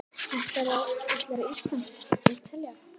Ætlarðu á Ísland- Ítalía?